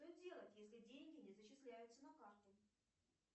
что делать если деньги не зачисляются на карту